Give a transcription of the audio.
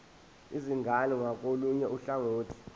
izingane ngakolunye uhlangothi